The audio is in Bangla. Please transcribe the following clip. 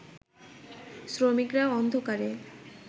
শ্রমিকরা অন্ধকারে